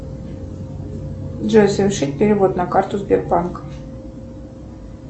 джой совершить перевод на карту сбербанка